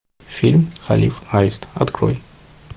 фильм халиф аист открой